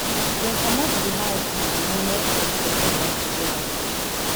dem comot di house on di onest of september togeda